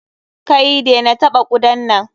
Kai! dena taɓa kudan nan!